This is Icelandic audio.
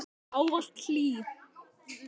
Ávallt hlý.